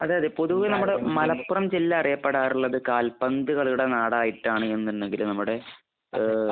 അതെ. അതെ. പൊതുവെ നമ്മുടെ മലപ്പുറം ജില്ല അറിയപ്പെടാറുള്ളത് കാൽപന്ത് കളിയുടെ നാടായിട്ടാണ് എന്നുണ്ടെങ്കിൽ നമ്മുടെ ഏഹ്